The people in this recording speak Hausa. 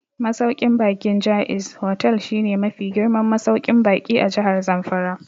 Masauƙin baƙin Jaiz Hotel shi ne mafi girman masauƙin baƙi a Jahar Zamfara